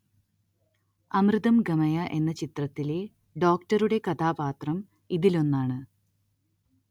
അമൃതം‌ ഗമയ എന്ന ചിത്രത്തിലെ ഡോക്ടറുടെ കഥാപാത്രം ഇതിലൊന്നാണ്